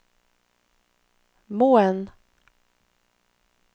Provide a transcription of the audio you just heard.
Moen